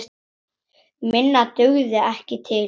Minna dugði ekki til.